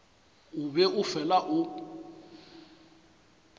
o be o fela o